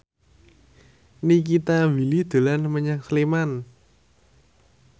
Nikita Willy dolan menyang Sleman